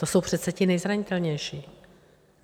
To jsou přece ti nejzranitelnější.